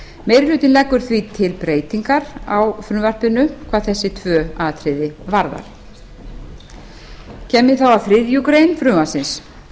meiri hlutinn leggur því til breytingar á frumvarpinu hvað þessi tvö atriði varðar kem ég þá að þriðju greinar frumvarpsins